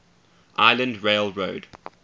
island rail road